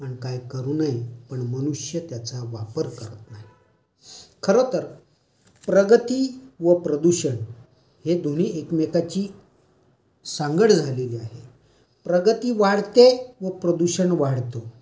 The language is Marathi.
आणि काय करू नये.पण मनुष्य त्याचा वापर करत नाही. खरतर प्रगति व प्रदूषण हे दोघे एकमेकांची सांगड घालून आहेत. प्रगति वाढते व प्रदूषण वाढतो.